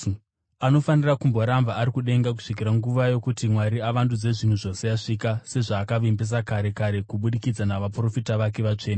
Anofanira kumboramba ari kudenga kusvikira nguva yokuti Mwari avandudze zvinhu zvose yasvika, sezvaakavimbisa kare kare kubudikidza navaprofita vake vatsvene.